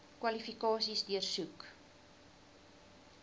kwalifikasies deursoek